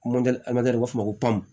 u b'a fɔ ko